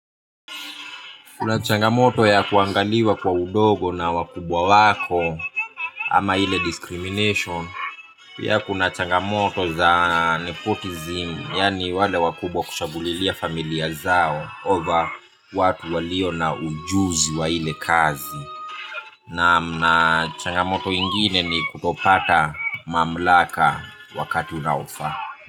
Kuna changamoto ya kuangaliwa kwa udogo na wakubwa wako ama ile discrimination. Pia kuna changamoto za nipotizim yani wale wakubwa kushabulilia familia zao over watu walio na ujuzi wa ile kazi. Naam na changamoto ingine ni kutofuata mamlaka wakati unaofa.